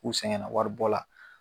K'u sɛgɛnna waribɔ la.